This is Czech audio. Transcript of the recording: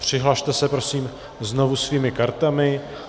Přihlaste se prosím znovu svými kartami.